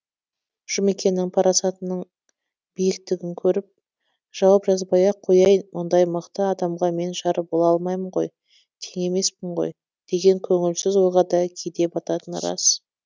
жұмекеннің парасатының биіктігін көріп жауап жазбай ақ қояйын мұндай мықты адамға мен жар бола алмаймын ғой теңі емеспін ғой деген көңілсіз ойға да кейде бататыны рас